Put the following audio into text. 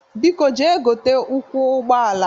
Biko jee gote ụkwụ ụgbọala!